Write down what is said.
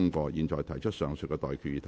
我現在向各位提出上述待決議題。